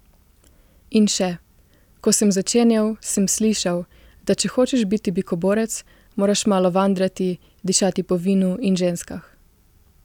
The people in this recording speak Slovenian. In še: 'Ko sem začenjal, sem slišal, da če hočeš biti bikoborec, moraš malo vandrati, dišati po vinu in ženskah.